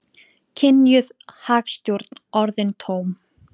Kynjuð hagstjórn orðin tóm